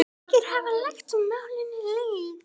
Margir hafa lagt málinu lið.